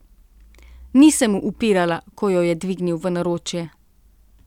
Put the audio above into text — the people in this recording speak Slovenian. Ni se mu upirala, ko jo je dvignil v naročje.